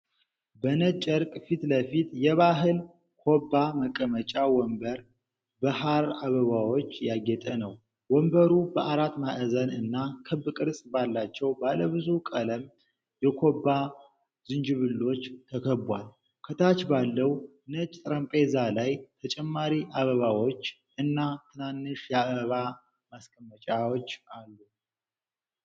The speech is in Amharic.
በነጭ ጨርቅ ፊት ለፊት፣ የባህል ኮባ መቀመጫ ወንበር በሐር አበባዎች ያጌጠ ነው። ወንበሩ በአራት ማዕዘን እና ክብ ቅርጽ ባላቸው ባለብዙ ቀለም የኮባ ዝንጅብሎች ተከቧል። ከታች ባለው ነጭ ጠረጴዛ ላይ ተጨማሪ አበባዎች እና ትናንሽ የአበባ ማስቀመጫዎች አሉ።